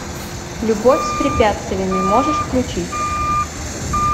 любовь с препятствиями можешь включить